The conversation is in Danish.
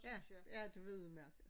Ja ja det var udemærket